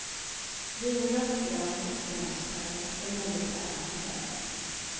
Vinrött, grönt och senapsfärgat är modefärgerna som gäller.